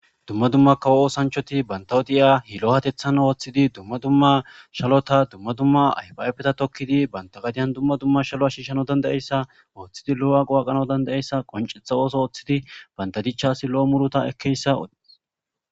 dumma dumma kawo oosanchoti bantawodi7iya hilo hatethan ooththidi dumma dumma shalota dumma dumma aybaafeta tokkidi banta gadiyan dumma dumma shalo ashiishano danda7eyssa ooththidi lo7o7a qowaqano danda7essa qoncetha ooso ooththidi bandadichasi lo7o murota ekkeyssa